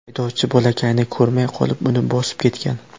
Haydovchi bolakayni ko‘rmay qolib, uni bosib ketgan.